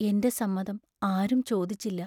എന്റെ സമ്മതം ആരും ചോദിച്ചില്ല.